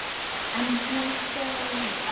En hún þegir.